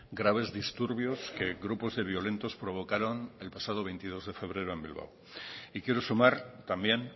graves disturbios que grupos de violentos provocaron el pasado veintidós de febrero en bilbao y quiero sumar también